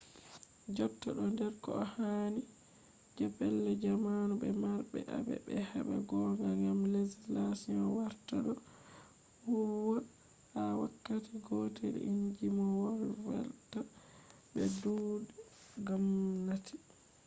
jotta ɗo der ko hani je pellel jamo be marɓe aibe heɓa gonga gam legislation warta ɗo huwwa ha wakkati gotel inji mo volwata be tuɗe gomnati